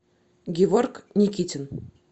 геворг никитин